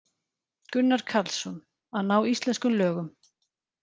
Gunnar Karlsson: Að ná íslenskum lögum.